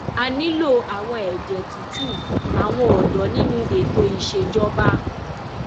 a nílò àwọn ẹjẹ tútù àwọn ọdọ nínú ètò ìṣèjọba